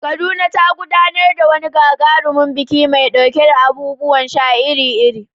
Kaduna ta gudanar da wani gagarumin biki mai ɗauke da abubuwan sha iri-iri.